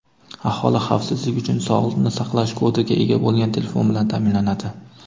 Aholi xavfsizlik uchun sog‘liqni saqlash kodiga ega bo‘lgan telefon bilan ta’minlanadi.